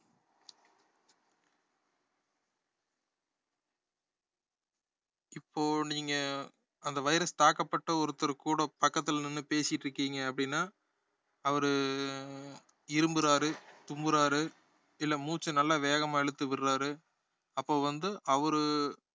இப்போ நீங்க அந்த virus தாக்கப்பட்ட ஒருத்தர் கூட பக்கத்துல நின்னு பேசிட்டிருகீங்க அப்படின்னா அவரு ஹம் இருமுறாரு, தும்முறாரு இல்ல மூச்ச நல்லா வேகமா இழுத்து விடறாரு அப்ப வந்து அவரு